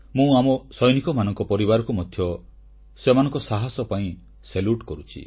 ମୁଁ ଆମ ସୈନିକମାନଙ୍କ ପରିବାରକୁ ମଧ୍ୟ ସେମାନଙ୍କ ସାହସ ପାଇଁ ଅଭିବାଦନ କରୁଛି